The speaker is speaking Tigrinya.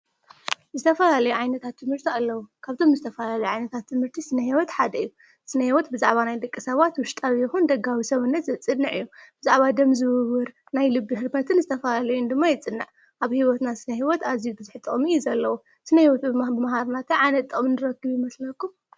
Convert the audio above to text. ዝተፈላለዩ ዓይነታት ትምህርቲ ኣለዉ ካብቶም ዝተፈላለዩ ዓይነታት ትምህርቲ ስነ ህይወት ሓደ እዩ። ስነ ሂወት ብዛዕባ ናይ ደቂ ሰባት ዉሽጣዊ ይኹን ደጋዊ ሰዉነት ዘፅንዕ እዩ። ብዛዕባ ደም ዝዉዉር፣ ናይ ልቢ ህርመትን ዝተፈላለዩን ድማ የፅንዕ። ኣብ ሂወትና ስነህይወት ኣዝዩ ብዙሕ ጥቕሚ እዩ ዘለዎ። ስነ ህይወት ብምምሃርና ታይ ዓይነት ጥቕሚ ንረክብ ይመስለኩም?